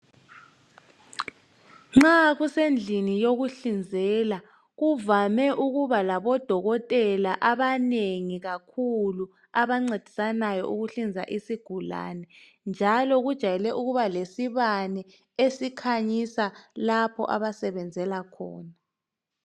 Nxa kusendlini yokuhlinzela , kuvame ukuba labodokotela abanengi kakhulu abancedisanayo ukuhlinza isigulane njalo kujayele ukuba lesibane esikhanyisa lapha abasebenzela khona .